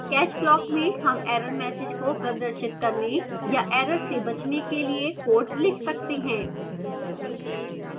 catch block में हम error messages को प्रदर्शित करने या error से बचने के लिए code लिख सकते हैं